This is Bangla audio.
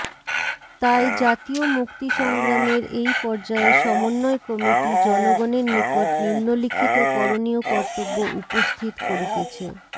তাই জাতীয় মুক্তিসংগ্রামের এই পর্যায়ে সমন্বয় কমিটি জনগণের নিকট নিম্নলিখিত করণীয় কর্তব্য উপস্থিত করিতেছেঃ